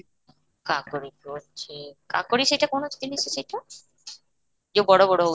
କାକୁଡି କୁ ଅଛି, କାକୁଡି ସେଇଟା କ'ଣ ଜିନିଷ ସେଇଟା ଯଉ ବଡ ବଡ ହଉଛି